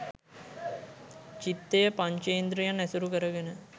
චිත්තය පංචේන්ද්‍රියන් ඇසුරු කරගෙන